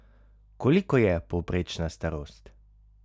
Koliko je povprečna starost?